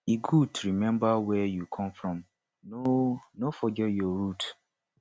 e good to remember where you come from no no forget your root